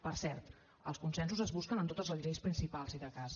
per cert els consensos es busquen en totes les lleis principals si de cas